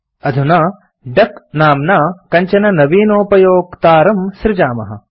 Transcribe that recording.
अधुना डक नाम्ना कञ्चन नवीनोपयोक्तारं सृजामः